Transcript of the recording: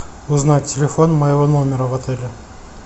узнать телефон моего номера в отеле